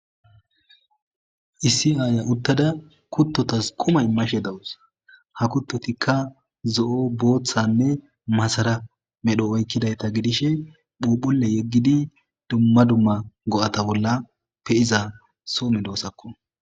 isi aaya uttada kuttotas kumay mashe dawus ha kuttotikka zo7o booththanne masara medho oykkidayta gidishe phuphule yeggidi dumma dumma go7ata bolla pe iza soo me doosakko